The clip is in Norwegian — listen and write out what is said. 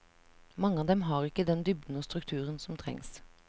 Mange av dem har ikke den dybden og strukturen som trengs.